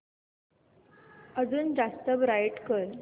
अजून जास्त ब्राईट कर